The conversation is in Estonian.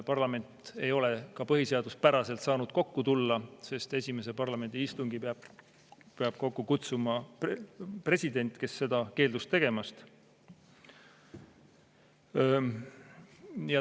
Parlament ei ole ka põhiseaduspäraselt saanud kokku tulla, sest parlamendi esimese istungi peab kokku kutsuma president, kes seda keeldus tegemast.